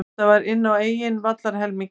Þetta var inn á eigin vallarhelmingi.